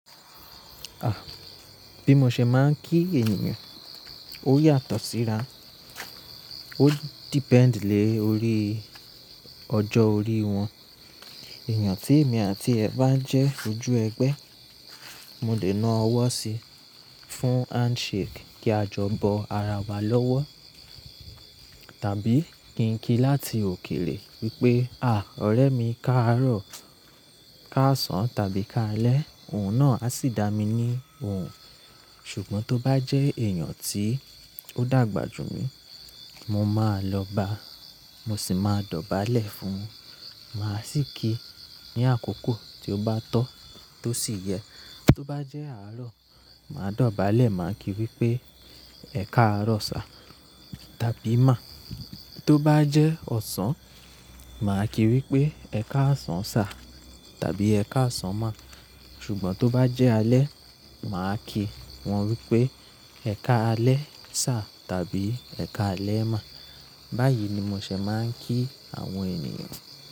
Àh, bí mo ṣe máa ń kí ènìyàn ó yàtọ̀ síra, ó depend lé orí ọjọ́ orí wọn. Ènìyàn tí èmi àti ẹ̀ bá jẹ́ ojú ẹgbẹ́, mo lè na ọwọ́ sí i fún handshake kí a jọ bọ ara wa lọ́wọ́. Tàbí kí n kí láti òkèrè wípé, àh, ọ̀rẹ́ mi, káàárọ̀, káàsán tàbí káalẹ́, òun náà á sì dá mi ní òun. Ṣùgbọ́n tó bá jẹ́ èèyàn tí ó dàgbà jù mí, mo máa lọ ba, mo sì máa dọ̀bálẹ̀ fún un. Màá sì kí i ní àkókò tí ó bá tọ́, tó sì yẹ. Tó bá jẹ́ àárọ̀, màá dọ̀bálẹ̀, màá kí i wípé ẹ̀ káàárọ̀ sà tàbí má. Tó bá jẹ́ ọ̀sán, màá kí i wípé ẹ̀ káàsán sà tàbí ẹ̀ káàsán má. Ṣùgbọ́n tó bá jẹ́ alẹ́, màá kí wọn wípé ẹ̀ káalẹ́ sà tàbí ẹ̀ káalẹ́ má. Báyìí ni mo ṣẹ̀ máa ń kí àwọn ènìyàn.